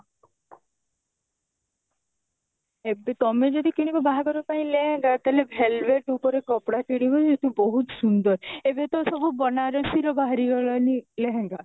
ଏବେ ତମେ ଯଦି କିଣିବ ବାହାଘର ପାଇଁ ଲେହେଙ୍ଗା ତାହେଲେ velvet ଉପରେ କପଡା କିଣିବ ବହୁତ ସୁନ୍ଦର ଏବେ ତ ସବୁ ବନାରସୀ ର ବାହାରି ଗଲାଣି ଲେହେଙ୍ଗା